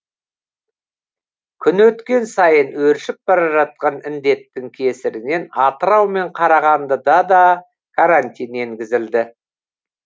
күн өткен сайын өршіп бара жатқан індеттің кесірінен атырау мен қарағандыда да карантин енгізілді